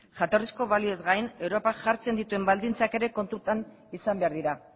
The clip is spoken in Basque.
jatorrizko balioez gain europak jartzen dituen baldintzak ere kontutan izan behar dira